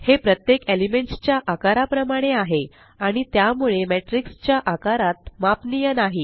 हे प्रत्येक एलिमेंट्स च्या आकाराप्रमाणे आहे आणि त्यामुळे मॅट्रिक्स च्या आकारात मापनीय नाही